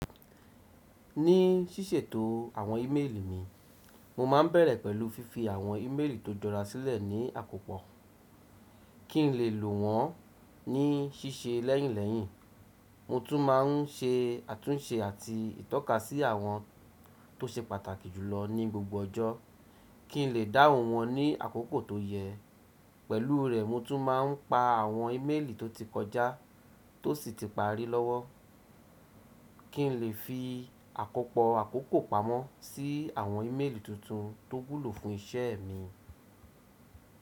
Ní ṣíṣètò àwọn íméèlì mi, mo máa ń bẹ̀rẹ̀ pẹ̀lú fífi àwọn íméèlì tó jọra sílẹ̀ ní àkópọ̀ kí n lè lò wọ́n ní ṣíṣe lẹ́yìnlẹ́yìn. Mo tún máa ń ṣe àtúnṣe àti ìtọ́kasí àwọn tó ṣe pàtàkì jùlọ ní gbogbo ọjọ́ kí n lè dáhùn wọ́n ní àkókò tó yẹ. Pẹ̀lú rẹ̀, mo tún máa ń pa àwọn íméèlì tó ti kọjá tó sì ti parí lọ́wọ́ kí n lè fi àkópọ̀ àkókò pamọ́ sí àwọn íméèlì tuntun tó wulo fún iṣẹ́ mi.